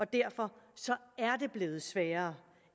derfor er blevet sværere